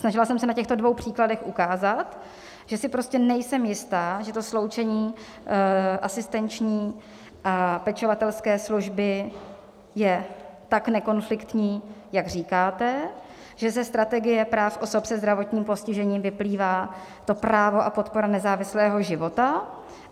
Snažila jsem se na těchto dvou příkladech ukázat, že si prostě nejsem jistá, že to sloučení asistenční a pečovatelské služby je tak nekonfliktní, jak říkáte, že ze strategie práv osob se zdravotním postižením vyplývá to právo a podpora nezávislého života.